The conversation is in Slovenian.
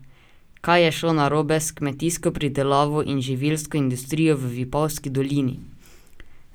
Kaj je šlo narobe s kmetijsko pridelavo in živilsko industrijo v Vipavski dolini?